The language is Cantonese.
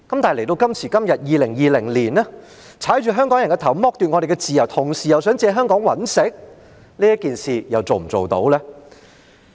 但是，到了2020年的今天，踏着香港人的頭、剝奪我們的自由，同時又想借香港賺錢，這件事又能否做到呢？